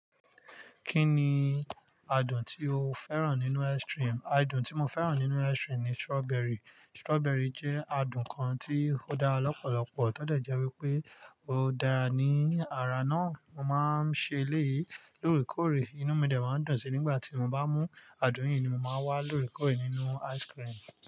Kí ni adùn tí o fẹ́ràn nínú ice cream? Adùn tí mo fẹ́ràn nínú ice cream ni strawberry. Strawberry jẹ́ adùn kan tí ó dára lọ́pọ̀lọpọ̀. Tó dẹ jẹ́ wípé ó dára ní ara náà. Mo máa ń ṣe èléyìí lóore kóòrè. Inú mi dẹ̀ máa ń dùn sí nígbà tí mo bá mú adùn yìí ni mo máa ń wá lóore kóòrè nínú ice cream.